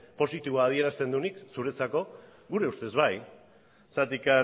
positibo adierazten duenik zuretzako gure ustez bai zergatik